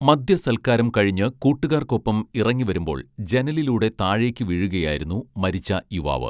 മദ്യ സൽക്കാരം കഴിഞ്ഞ് കൂട്ടുകാർക്കൊപ്പം ഇറങ്ങി വരുമ്പോൾ ജനലിലൂടെ താഴേക്കു വീഴുകയായിരുന്നു മരിച്ച യുവാവ്